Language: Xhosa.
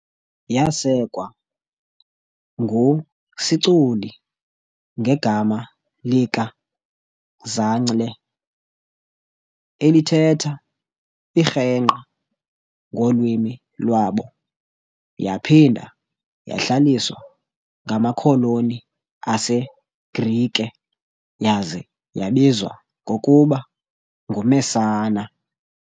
Yasekwa ngu Siculi ngegama lika "Zancle", elithetha "irhengqa" ngolwimi lwabo, yaphinda yahlaliswa ngamakholoni aseGrike yaza yabizwa ngokuba "nguMessana" .